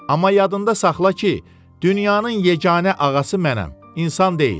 Amma yadında saxla ki, dünyanın yeganə ağası mənəm, insan deyil.